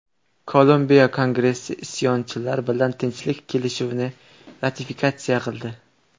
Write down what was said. Kolumbiya kongressi isyonchilar bilan tinchlik kelishuvini ratifikatsiya qildi.